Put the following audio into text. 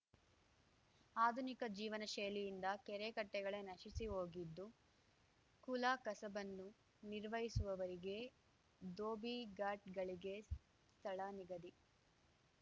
ಆಧುನಿಕ ಜೀವನ ಶೈಲಿಯಿಂದ ಕೆರೆ ಕಟ್ಟೆಗಳೇ ನಶಿಸಿಹೋಗಿದ್ದು ಕುಲಕಸಬನ್ನು ನಿರ್ವಹಿಸುವವರಿಗೆ ದೋಭಿಘಾಟ್‌ಗಳಿಗೆ ಸ್ಥಳನಿಗಧಿ